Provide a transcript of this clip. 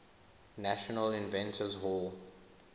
national inventors hall